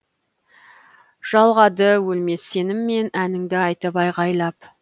жалғады өлмес сеніммен әніңді айтып айғайлап